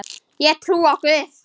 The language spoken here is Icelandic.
Ég trúi á Guð!